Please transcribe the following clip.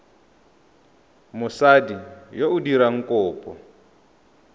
mosadi yo o dirang kopo